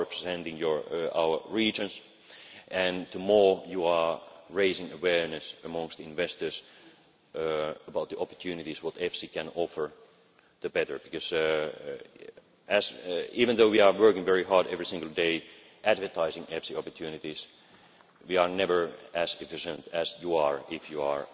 people. You are representing our regions, and the more you are raising awareness amongst investors about the opportunities that EFSI can offer, the better. Even though we are working very hard every single day advertising EFSI opportunities, we are never as efficient as you are